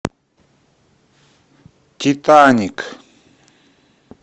титаник